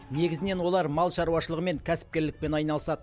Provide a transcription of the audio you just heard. негізінен олар мал шаруашылығымен кәсіпкерлікпен айналысады